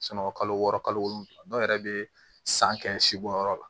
kalo wɔɔrɔ kalo wolonwula dɔw yɛrɛ bɛ san kɛ si bɔnyɔrɔ la